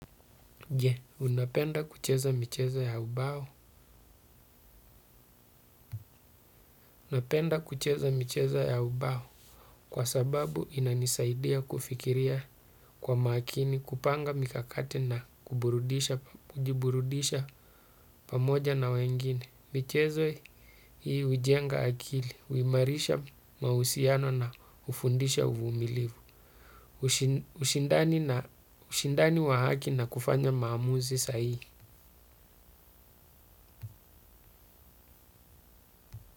Napenda kucheza michezo ya ubao kwa sababu inanisaidia kufikiria kwa makini kupanga mikakati na kujiburudisha pamoja na wengine. Michezo hii hujenga akili, huimarisha mahusiano na hufundisha uvumilivu, ushindani wa haki na kufanya maamuzi sahihi.